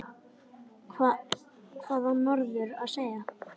Hvað á norður að segja?